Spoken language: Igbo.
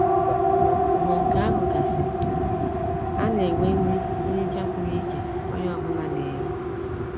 Mgbe nke ahụ gasịrị, a na-enwe nri nricha pụrụ iche onye ọbula n'eri.